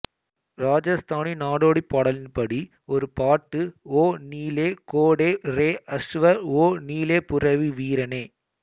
ராஜஸ்தானி நாடோடிப்பாடலின்படி ஒரு பாட்டு ஒ நீலே கோடே ரே அஸ்வர் ஒ நீலப்புரவி வீரனே